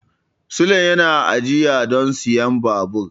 Sule yana ajiya don siyan babur.